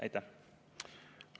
Aitäh!